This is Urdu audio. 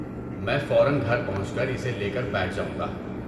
میں فوراً گھر پہنچ کر اسے لے کر بیٹھ جاؤں گا۔